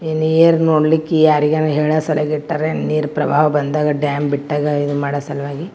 ಇನ್ನಾ ಏನ್ ನೋಡ್ಲಿಕೆ ಯಾರಿಗಾನ್ ಹೇಳ್ ಸರೀಗ್ ಇಟ್ಟರ್ ಏನ್ ನೀರ್ ಪ್ರಬಾವ್ ಬಂದಾಗ್ ಡ್ಯಾಮ್ ಬಿಟ್ಟಾಗ್ ಇವನ್ನು ಮಾಡೋ ಸಲುವಾಗಿ .